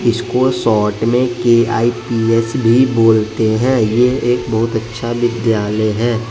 इसको शॉर्ट में के_आई_पी_एस भी बोलते हैं यह एक बहुत अच्छा विद्यालय है।